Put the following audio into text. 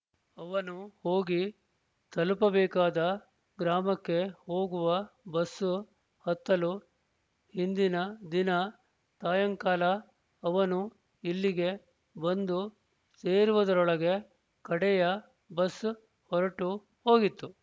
ಅವನು ಹೋಗಿ ತಲುಪಬೇಕಾದ ಗ್ರಾಮಕ್ಕೆ ಹೋಗುವ ಬಸ್ಸು ಹತ್ತಲು ಹಿಂದಿನ ದಿನ ಸಾಯಂಕಾಲ ಅವನು ಇಲ್ಲಿಗೆ ಬಂದು ಸೇರುವುದರೊಳಗೆ ಕಡೆಯ ಬಸ್ ಹೊರಟು ಹೋಗಿತ್ತು